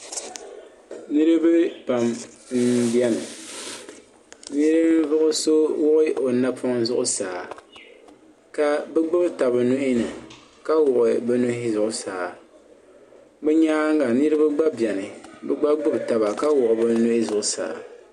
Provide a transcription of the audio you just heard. Nirina pam n biɛni ninvuɣuso wuɣi o napoŋ zuɣusaa ka bɛ gbibi taba nuhini ka wuɣi bɛ nuhi zuɣusaa bɛ nyaanga niriba gba biɛni bɛ gba gbibi taba ka wuɣi bɛ nuhi zuɣusaa.